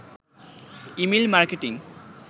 email marketing